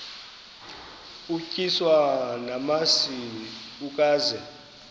utyiswa namasi ukaze